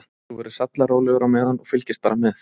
Þú verður sallarólegur á meðan og fylgist bara með.